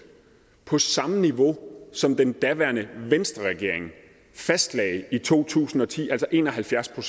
på samme niveau som den daværende venstreregering fastlagde i to tusind og ti altså en og halvfjerds